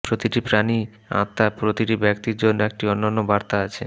প্রতিটি প্রাণী আত্মা প্রতিটি ব্যক্তির জন্য একটি অনন্য বার্তা আছে